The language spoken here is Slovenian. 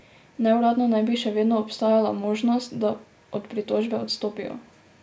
Neuradno naj bi še vedno obstajala možnost, da od pritožbe odstopijo.